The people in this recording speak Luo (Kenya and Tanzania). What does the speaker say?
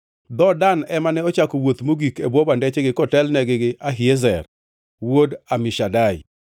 Dhood Dan ema ne ochako wuoth mogik e bwo bandechgi kotelnegi gi Ahiezer wuod Amishadai.